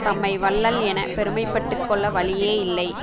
தம்மை வள்ளல் என பெருமை பட்டு கொள்ள வழியே இல்லை